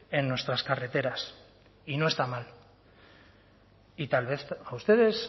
en nuestras carreteras y no está mal y tal vez a ustedes